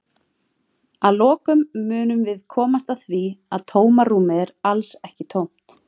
Að lokum munum við komast að því að tómarúmið er alls ekki tómt!